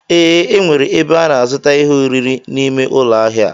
Ee, enwere ebe a na azuta ihe oriri n'ime ụlọ ahịa a.